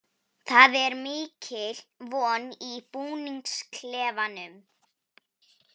Það er mikil von í búningsklefanum.